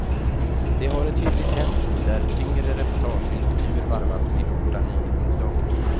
Det har ett hyggligt tempo där tyngre reportage och intervjuer varvas med korta nyhetsinslag.